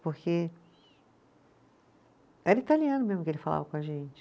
Porque era italiano mesmo que ele falava com a gente.